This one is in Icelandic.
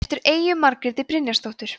eftir eyju margréti brynjarsdóttur